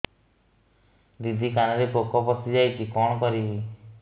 ଦିଦି କାନରେ ପୋକ ପଶିଯାଇଛି କଣ କରିଵି